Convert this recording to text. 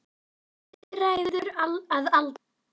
Níræður að aldri.